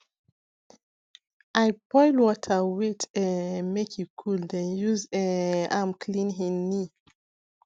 i boil water wait um make e cool then use um am clean hin knee